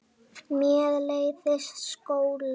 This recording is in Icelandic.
Mér leiðist skóli.